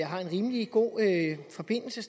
har en rimelig god forbindelse